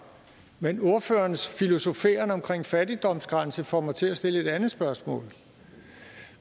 men ordførerens filosoferen omkring en fattigdomsgrænse får mig til at stille et andet spørgsmål